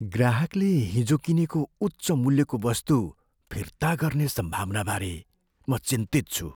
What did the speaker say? ग्राहकले हिजो किनेको उच्च मूल्यको वस्तु फिर्ता गर्ने सम्भावनाबारे म चिन्तित छु।